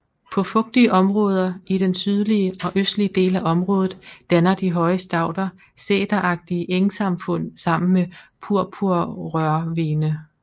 På fugtige områder i den sydlige og østlige del af området danner de høje stauder sæteragtige engsamfund sammen med purpurrørhvene